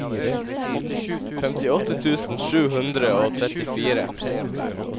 femtiåtte tusen sju hundre og trettifire